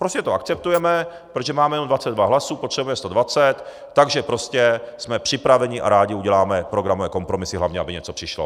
Prostě to akceptujeme, protože máme jenom 22 hlasů, potřebujeme 120, takže prostě jsme připraveni a rádi uděláme programové kompromisy, hlavně aby něco přišlo.